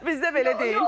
Bizdə belə deyil.